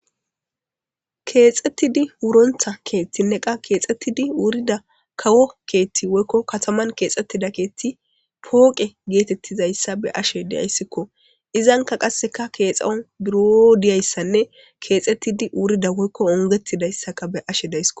Keexxettidi wurontha keethtinne qa keexettidi wurida kawo keethti woykko kataman keexxettida keethti pooqe geetettizayssa be ashe deyayssikko izanka qasseka keexaon buro diyayssanne keexettidi wurida woykko ongetidayssaka be ashe daysko.